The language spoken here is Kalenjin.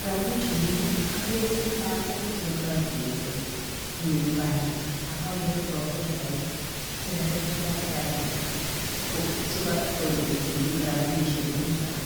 graduation ini akere lagok che ka grachweten eng university ak akere profesaek che katetkei ak Raila, chiko tononchini graduation inito.